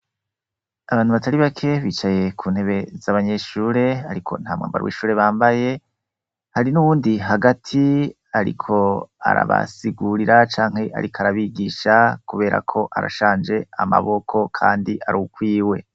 Abantu batari bake bicaye kuntebe zabanyeshure ariko ntamwambaro wishure bambaye hari nuwundi hagati ariko arabasigurira canke ariko arabigisha kubera ko arashaje amaboko kandi arukwiwe